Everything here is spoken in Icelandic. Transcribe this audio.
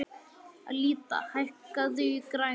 Alida, hækkaðu í græjunum.